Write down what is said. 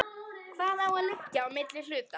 Hvað á að liggja á milli hluta?